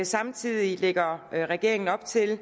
samtidig lægger regeringen op til at